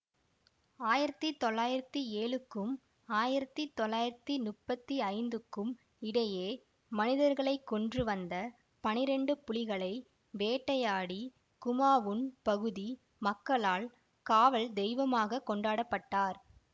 ஆயிரத்தி தொள்ளாயிரத்தி ஏழுக்கும் ஆயிரத்தி தொள்ளாயிரத்தி முப்பத்தி ஐந்துக்கும் இடையே மனிதர்களை கொன்று வந்த பனிரெண்டு புலிகளை வேட்டையாடி குமாவுன் பகுதி மக்களால் காவல் தெய்வமாக கொண்டாடப்பட்டார்